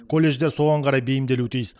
колледждер соған қарай бейімделуі тиіс